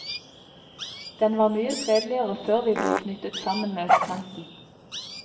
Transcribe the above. Den var mye fredeligere før vi ble knyttet sammen med østkanten.